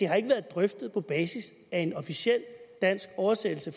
har været drøftet på basis af en officiel dansk oversættelse